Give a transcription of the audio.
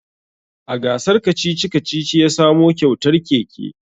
A gasar kacici-kacici ya samo kyautar keke